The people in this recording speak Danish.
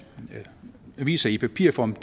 aviser i papirform